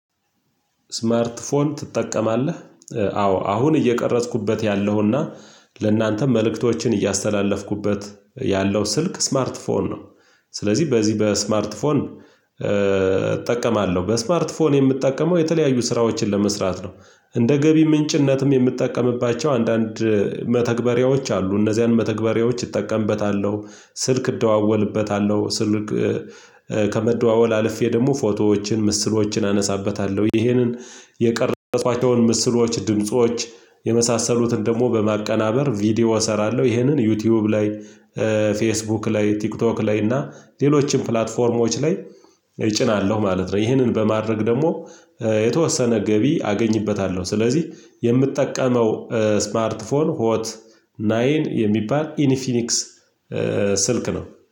ስማርትፎን ትጠቀማለ? አዎ አሁን እየቀረጽኩበት ያለሁና ለእናንተ መልእክቶችን እያስተላለፍኩበት ያለው ስልክ ስማርት ፎን ነውደ ስለዚህ በዚህ በስማርት ፎን እጠቀማለሁ። በስማርት ፎን የምጠቀመው የተለያዩ ስራዎችን ለመስራት ነው። እንደ ገቢ ምንጭነትም የምጠቀምባቸው አንዳንድ መተግበሪያዎች አሉ። እነዚያን መተግበሪያዎች እጠቀምበታለሁ፤ ስልክ እደዋወልበታለሁ፤ ስልክ ከመደዋወል አልፌ ደግሞ ፎቶዎችን ምስሎችን አነሳበታለሁ። ይሄንን የቀረጽኳቸውን ምስሎች፣ ድምጾች የመሳሰሉትን ደግሞ በማቀናበር ቪዲዮ እሰራለሁ። ይሄንን ዩቲዩብ ላይ ፌስቡክ ላይ፣ ቲክቶክ ላይ እና ሌሎችንም ፕላትፎርሞች ላይ እጭናለሁ ማለት ነው። ይህንን በማድረግ ደግሞ የተወሰነ ገቢ አገኝበታለሁ። ስለዚህ የምጠቀመው ስማርትፎን ሆት ናይን የሚባል ኢኒፊኒክስ ስልክ ነው።